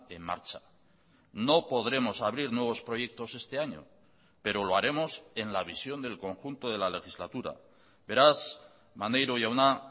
en marcha no podremos abrir nuevos proyectos este año pero lo haremos en la visión del conjunto de la legislatura beraz maneiro jauna